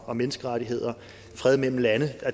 og menneskerettigheder og fred mellem lande